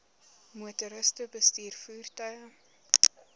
motoriste bestuur voertuie